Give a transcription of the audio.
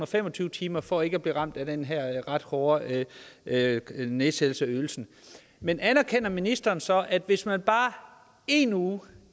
fem og tyve timer for ikke at blive ramt af den her ret hårde nedsættelse af ydelsen men anerkender ministeren så at hvis man bare én uge